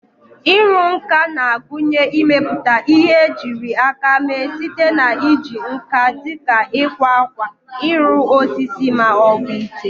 Ịrụ nka na-agụnye ịmepụta ihe ejiri aka mee site na iji nkà dị ka ịkwa akwa, ịrụ osisi, ma ọ bụ ite.